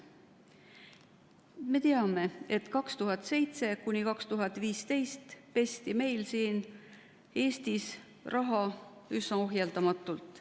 Me teame, et 2007–2015 pesti meil siin Eestis raha üsna ohjeldamatult.